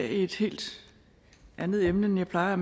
et helt andet emne end jeg plejer at